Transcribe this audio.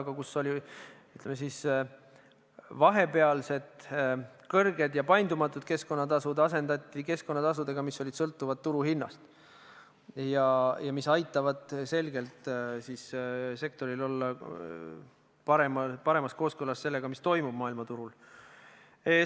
Aga see oli aeg, kus kehtisid kõrged ja paindumatud tasud, mis asendati keskkonnatasudega, mis sõltuvad turuhinnast ja mis aitavad selgelt sektoris tegutseda paremas kooskõlas sellega, mis toimub maailmaturul.